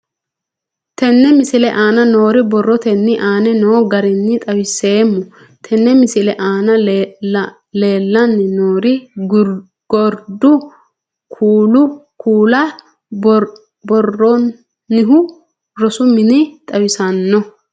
Tenne misile aana noore borrotenni aane noo garinni xawiseemo. Tenne misile aana leelanni nooerri gordu kuula buuronihu rosu minne xawissanno.